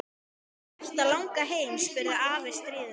Er þig hætt að langa heim? spurði afi stríðinn.